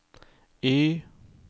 Y